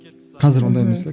қазір ондай емес те